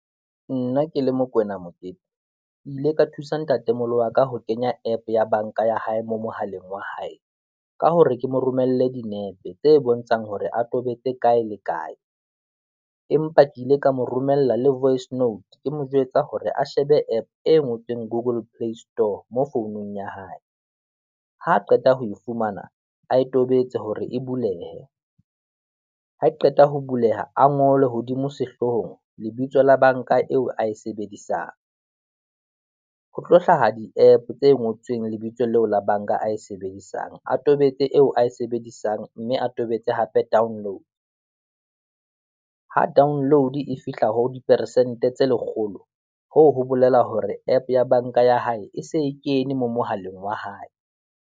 Nna ke le Mokoena Mokete, ke ile ka thusa ntatemoholo wa ka ho kenya app ya bank-a ya hae mo mohaleng wa hae, ka hore ke mo romelle dinepe, tse bontshang hore a tobetse kae le kae. Empa ke ile ka mo romella le voice note ke mo jwetsa hore a shebe app e ngotsweng Google Play Store, mo founung ya hae. Ha qeta ho e fumana, ae tobetse hore e bulehe, ha e qeta ho buleha a ngolwe hodimo sehloohong lebitso la bank-a eo a e sebedisang, ho tlo hlaha di app tse ngotsweng lebitso leo la bank-a eo a sebedisang, a tobetse eo ae se bedisang, mme a tobetse hape download. Ha download e fihla ho diperesente tse lekgolo, hoo ho bolela hore app ya bank-a ya hae e se e kene mo mohaleng wa hae.